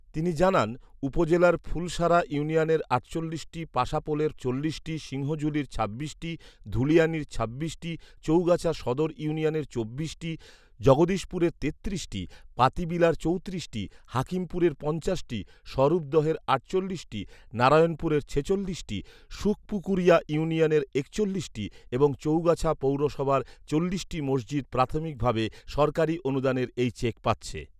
তিনি জানান উপজেলার ফুলসারা ইউনিয়নের আটচল্লিশটি, পাশাপোলের চল্লিশটি, সিংহঝুলীর ছাব্বিশটি, ধুলিয়ানীর ছাব্বিশটি, চৌগাছা সদর ইউনিয়নের চব্বিশটি, জগদীশপুরের তেত্রিশটি, পাতিবিলার চৌত্রিশটি, হাকিমপুরের পঞ্চাশটি, স্বরূপদহের আটচল্লিশটি, নারায়ণপুরের ছেচল্লিশটি, সুখপুকুরিয়া ইউনিয়নের একচল্লিশটি এবং চৌগাছা পৌরসভার চল্লিশটি মসজিদ প্রাথমিক ভাবে সরকারি অনুদানের এই চেক পাচ্ছে